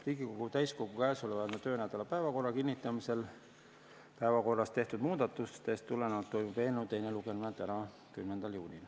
Riigikogu täiskogu käesoleva töönädala päevakorra kinnitamisel päevakorras tehtud muudatustest tulenevalt toimub eelnõu teine lugemine täna, 10. juunil.